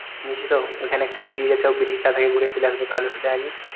চিনিস তো ওইখানে একটা bridge আছে ওই bridge টা থেকে ঘুরে চলে আসবে তাহলে